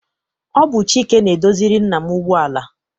Ọ bụ Chike na-edoziri nna m ụgbọala.